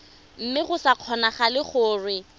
mme go sa kgonagale gore